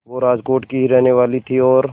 वो राजकोट की ही रहने वाली थीं और